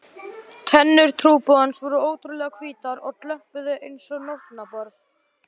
Tennur trúboðans voru ótrúlega hvítar og glömpuðu einsog nótnaborð.